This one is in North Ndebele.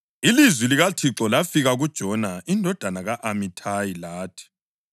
Ilizwi likaThixo lafika kuJona indodana ka-Amithayi lathi: